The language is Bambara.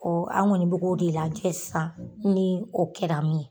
an kɔni bɛ k'o de lajɛ sisan ni o kɛra min ye.